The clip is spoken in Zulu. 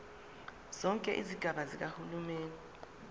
zonke izigaba zikahulumeni